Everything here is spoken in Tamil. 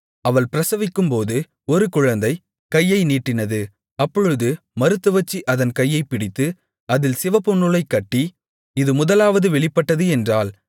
அவள் பிரசவிக்கும்போது ஒரு குழந்தை கையை நீட்டினது அப்பொழுது மருத்துவச்சி அதன் கையைப் பிடித்து அதில் சிவப்புநூலைக் கட்டி இது முதலாவது வெளிப்பட்டது என்றாள்